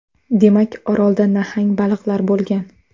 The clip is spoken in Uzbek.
Demak, Orolda nahang baliqlar bo‘lgan.